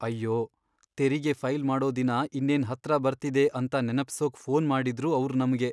ಅಯ್ಯೋ! ತೆರಿಗೆ ಫೈಲ್ ಮಾಡೋ ದಿನ ಇನ್ನೇನ್ ಹತ್ರ ಬರ್ತಿದೆ ಅಂತ ನೆನಪ್ಸೋಕ್ ಫೋನ್ ಮಾಡಿದ್ರು ಅವ್ರ್ ನಮ್ಗೆ.